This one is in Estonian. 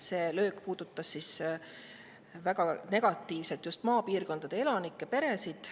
See löök puudutab väga negatiivselt just maapiirkondade elanikke, peresid.